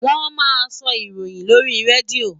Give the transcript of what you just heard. Wọ́n máa ń sọ ìròyìn lórí Radio.